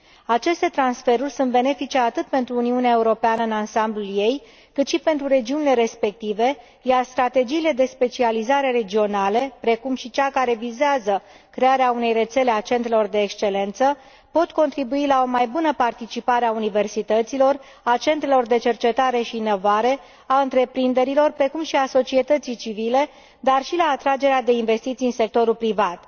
Aceste transferuri sunt benefice atât pentru Uniunea Europeană, în ansamblul ei, cât și pentru regiunile respective, iar strategiile de specializare regionale, precum și cea care vizează crearea unei rețele a centrelor de excelență pot contribui la o mai bună participare a universităților, a centrelor de cercetare și inovare, a întreprinderilor, precum și a societății civile, dar și la atragerea de investiții în sectorul privat.